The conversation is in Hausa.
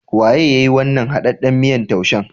Waye yayi wannan haɗaɗɗan miyan taushen?